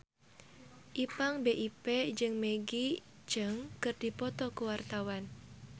Ipank BIP jeung Maggie Cheung keur dipoto ku wartawan